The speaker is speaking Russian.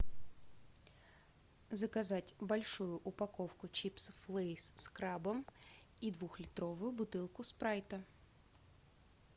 заказать большую упаковку чипсов лейс с крабом и двухлитровую бутылку спрайта